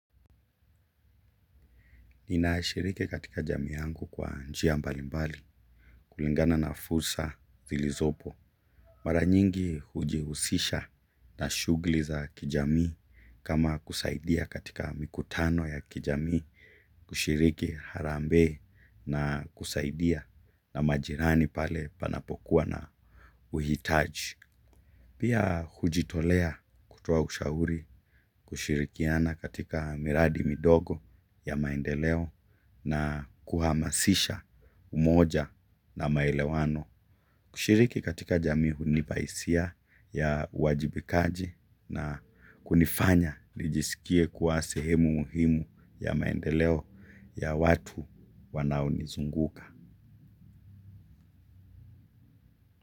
Ninashiriki katika jamii yangu kwa njia mbalimbali kulingana na fursa zilizopo. Mara nyingi hujihusisha na shughuli za kijamii kama kusaidia katika mikutano ya kijamii kushiriki harambee na kusaidia na majirani pale panapokuwa na uhitaji. Pia hujitolea kutoa ushauri kushirikiana katika miradi midogo ya maendeleo na kuhamasisha umoja na maelewano kushiriki katika jamii hunipa hisia ya uwajibikaji na kunifanya nijisikie kuwa sehemu muhimu ya maendeleo ya watu wanaonizunguka.